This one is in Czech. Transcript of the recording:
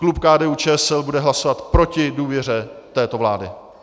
Klub KDU- ČSL bude hlasovat proti důvěře této vlády.